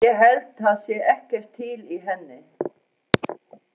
Ég held það sé ekkert til í henni.